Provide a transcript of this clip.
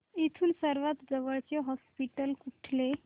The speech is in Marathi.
इथून सर्वांत जवळचे हॉस्पिटल कुठले